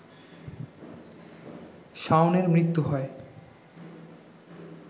শাওনের মৃত্যু হয়